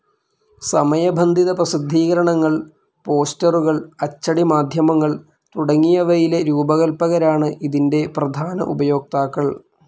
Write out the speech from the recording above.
സമയബന്ധിത പ്രസിദ്ധീകരണങ്ങൾ, പോസ്റ്ററുകൾ, അച്ചടി മാധ്യമങ്ങൾ തുടങ്ങിയവയിലെ രൂപകൽപ്പകരാണ് ഇതിൻ്റെ പ്രധാന ഉപയോക്താക്കൾ.